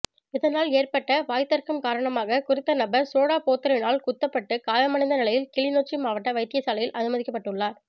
இதனால் ஏற்பட்ட வாய்த்தர்க்கம் காரணமாக குறித்த நபா் சோடா போத்தலினால் குத்தப்பட்டு காயமடைந்த நிலையில் கிளிநொச்சி மாவட்ட வைத்தியசாலையில் அனுமதிக்கப்பட்டுள்ளாா்